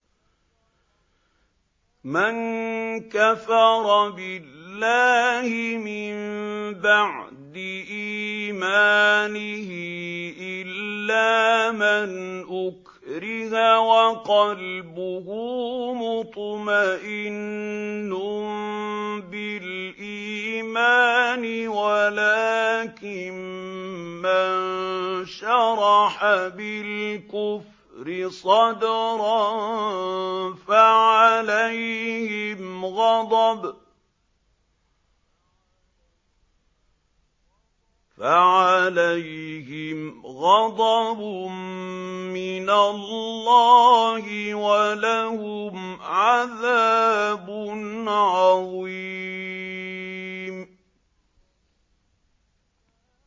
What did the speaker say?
مَن كَفَرَ بِاللَّهِ مِن بَعْدِ إِيمَانِهِ إِلَّا مَنْ أُكْرِهَ وَقَلْبُهُ مُطْمَئِنٌّ بِالْإِيمَانِ وَلَٰكِن مَّن شَرَحَ بِالْكُفْرِ صَدْرًا فَعَلَيْهِمْ غَضَبٌ مِّنَ اللَّهِ وَلَهُمْ عَذَابٌ عَظِيمٌ